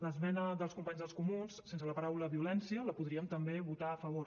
l’esmena dels companys dels comuns sense la paraula violència la podríem també votar a favor